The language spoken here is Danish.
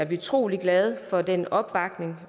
vi utrolig glade for den opbakning